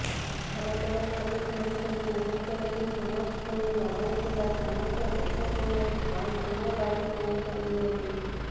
ଭାରତର ଏପରି ଘଡ଼ିସନ୍ଧି ମୁହୂର୍ତ୍ତରେ ସମର୍ଥନ ଜଣାଇଥିବା ସମସ୍ତ ଦେଶକୁ ମଧ୍ୟ ଧନ୍ୟବାଦ ଜଣାଇଛନ୍ତି ମୋଦି